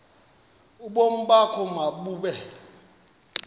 ubomi bakho mabube